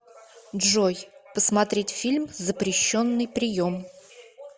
джой посмотреть фильм запрещенный прием